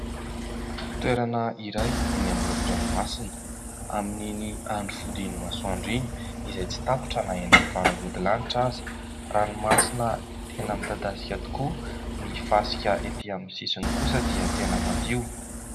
Toerana iray eny amoron-dranomasina amin'iny andro fodian'ny masoandro iny izay tsy tapitra na eny amin'ny faravodilanitra aza. Ranomasina tena midadasika tokoa, ny fasika etỳ amin'ny sisiny kosa dia tena madio.